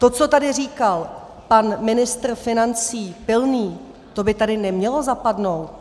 To, co tady říkal pan ministr financí Pilný, to by tady nemělo zapadnout.